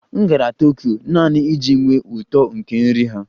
M gara Tokyo naanị iji nwee uto nke nri ha